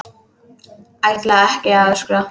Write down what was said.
Ætla ekki að öskra.